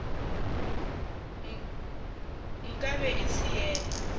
nka be e se yena